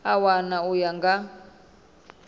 a wana u ya nga